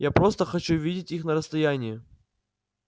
я просто хочу видеть их на расстоянии